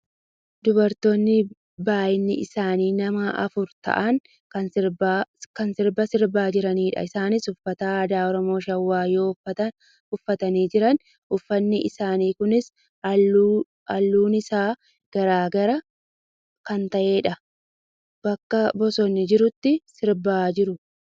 Dubartoota baayyinni isaanii nama afur ta'an kan sirba sirbaa jiranidha. Isaanis uffata aadaa Oromoo Shawaa yoo uffatanii jiran , uffanni isaanii kunis halluun isaa gar gar kan ta'edha. Bakka bosonni jirutti sibaa jiru.